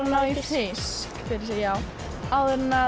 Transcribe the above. ná í fisk fyrir sig áður en að